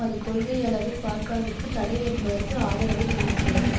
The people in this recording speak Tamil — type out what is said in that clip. அது கொள்கை அளவில் பர்க்காவிற்கு தடை என்பதற்கு ஆதரவை தெரிவிக்கிறது